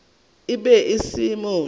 e be e se motho